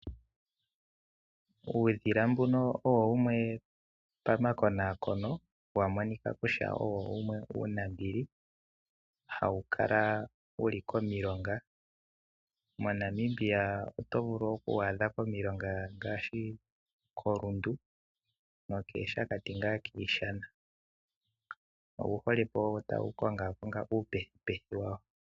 Uudhila mbuno owo wumwe pamakonakono wa monika kutya owo wumwe uunambili. Hawu kala wuli komilonga, moNamibia oto vulu oku wu adha komilonga ngaashi koRundu no keeShakati ngaa kiishana. Owu hole ko tawu kongaakonga uupethupethu wawo.